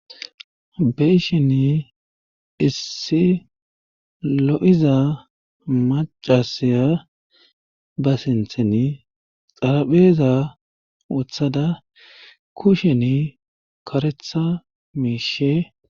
Meishen issi lo7iza macasiya ba sinthen xarapheeza oththada kushen karetha miishe.